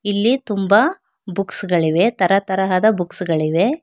ಇಲ್ಲಿ ತುಂಬಾ ಬುಕ್ಸ್ ಗಳಿವೆ ತರ ತರಹದ ಬುಕ್ಸ್ ಗಳಿವೆ.